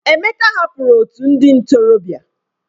Emeka hapụrụ otu ndị ntorobịa.